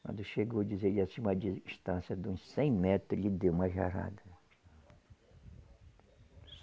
Quando chegou, dizia, e acima de distância de uns cem metros, ele deu uma jarada.